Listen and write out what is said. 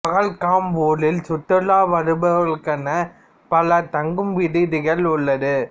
பகல்காம் ஊரில் சுற்றுலா வருபவர்களுக்கான பல தங்கும் விடுதிகள் உள்ளது